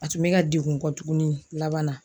A tun be ka degun kɔ tuguni laban na